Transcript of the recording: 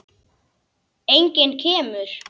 Enginn kemur.